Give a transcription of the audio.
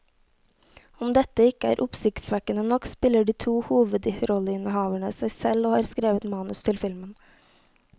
Om dette ikke er oppsiktsvekkende nok, spiller de to hovedrolleinnehaverne seg selv og har skrevet manus til filmen.